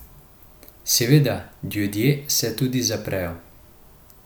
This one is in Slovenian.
Seveda, ljudje se tudi zaprejo.